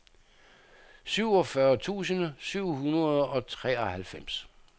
syvogfyrre tusind syv hundrede og treoghalvfems